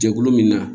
Jɛkulu min na